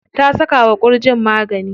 Ta saka wa ƙurjin magani.